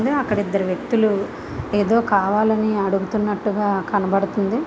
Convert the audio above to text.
అక్కడ ఇద్దరు వ్యక్తులు ఎదో కావాలి అని అడుగుతునట్టుగా కనబడుతుంది.